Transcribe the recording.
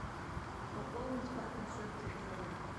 пополнить папин счет телефона